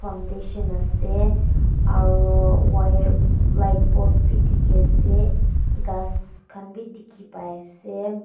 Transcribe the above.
foundation ase aro wire light post bi dikhiase ghas khan bi dikhipaiase.